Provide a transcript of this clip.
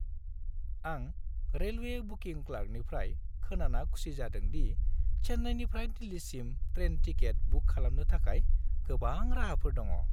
आं railway booking क्लार्कनिफ्राय खोनाना खुसि जादों दि चेन्नाइनिफ्राय दिल्लीसिम ट्रेन टिकेट बुक खालामनो थाखाय गोबां राहाफोर दङ।